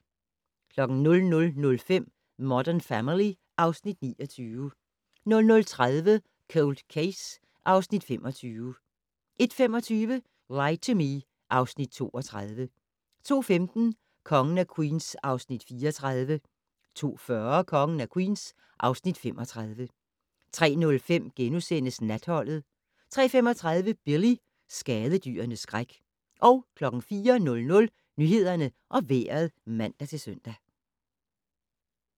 00:05: Modern Family (Afs. 29) 00:30: Cold Case (Afs. 25) 01:25: Lie to Me (Afs. 32) 02:15: Kongen af Queens (Afs. 34) 02:40: Kongen af Queens (Afs. 35) 03:05: Natholdet * 03:35: Billy - skadedyrenes skræk 04:00: Nyhederne og Vejret (man-søn)